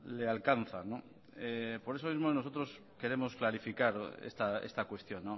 le alcanzan por eso mismo nosotros queremos clarificar esta cuestión